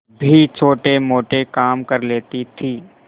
भी छोटेमोटे काम कर लेती थी